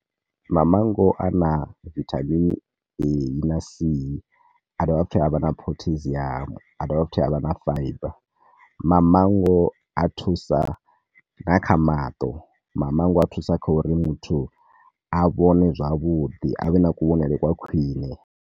Mango ana vitamin A na C, a dovha futhi avha na pottasium, a dovha futhi avha na fiber. Mamango a thusa nga kha maṱo, mamango a thusa kha uri muthu a vhone zwavhuḓi, a vhe na kuvhonele kwa khwine.